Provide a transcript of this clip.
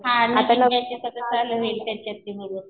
हा नवीन बॅच आता चालू होईल.